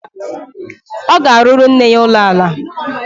Ọ ga-arụrụ nne ya ụlọala